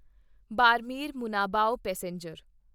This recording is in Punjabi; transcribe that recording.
ਬਾਰਮੇਰ ਮੁਨਾਬਾਓ ਪੈਸੇਂਜਰ